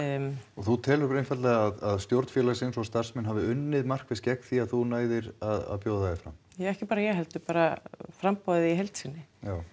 og þú telur einfaldlega að stjórn félagsins og starfsfólkið hafi unnið markvisst gegn því að þú næðir að bjóða þig fram ekki bara ég heldur framboðið í heild sinni